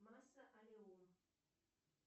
масса ореум